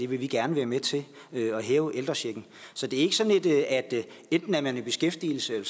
vi vil gerne være med til at hæve ældrechecken så det er ikke sådan at enten er man i beskæftigelse